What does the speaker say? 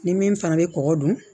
Ni min fana bɛ kɔkɔ dun